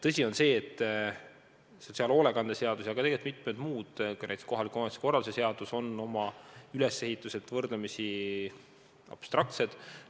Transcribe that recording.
Tõsi on ka see, et sotsiaalhoolekande seadus ja tegelikult mitmed muudki seadused, näiteks kohaliku omavalitsuse korralduse seadus, on oma ülesehituselt võrdlemisi abstraktsed.